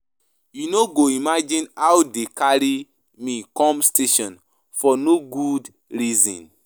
You no go imagine how dey carry me come station for no good reason um.